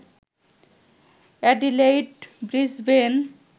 Adelaide, Brisbane